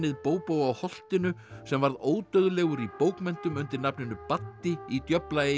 Bóbó á holtinu sem varð ódauðlegur í bókmenntum undir nafninu Baddi í